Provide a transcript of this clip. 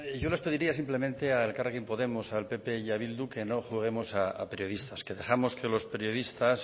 yo les pediría simplemente a elkarrekin podemos al pp y a bildu que no juguemos a periodistas que dejemos que los periodistas